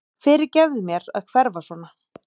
Fyrirgefðu mér að hverfa svona.